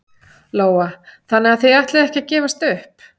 Lóa: Þannig þið ætlið ekki að gefast upp?